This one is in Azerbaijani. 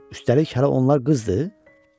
Üstəlik hələ onlar qızdı?